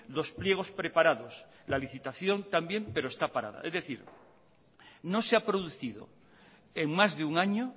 los pliegos preparados la licitación también pero está parada es decir no se ha producido en más de un año